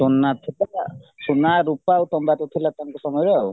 ସୁନା ସୁନା ରୂପା ଆଉ ତମ୍ବାତ ଥିଲା ତାଙ୍କ ସମୟରେ